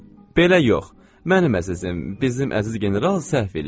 Belə yox, mənim əzizim, bizim əziz general səhv eləyir.